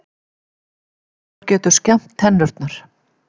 Lokkur getur skemmt tennurnar